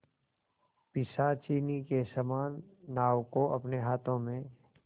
पिशाचिनी के समान नाव को अपने हाथों में